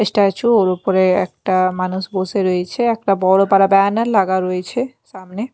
Statue ওর ওপরে একটা মানুষ বসে রয়েছে একটা বড়ো পারা ব্যানার লাগা রয়েছে সামনে।